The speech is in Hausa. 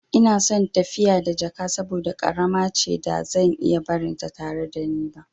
Ina son tafiya da jakata saboda ƙarama ce da zan iya barinta tare da ni.